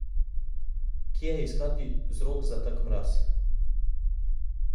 Kje je iskati vzrok za tak mraz?